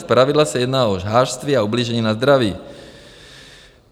Zpravidla se jedná o žhářství a ublížení na zdraví.